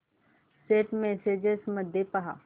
Saint messages मध्ये पहा